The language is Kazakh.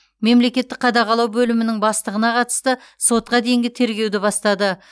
мемлекеттік қадағалау бөлімінің бастығына қатысты сотқа дейінгі тергеуді бастады